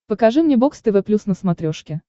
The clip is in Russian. покажи мне бокс тв плюс на смотрешке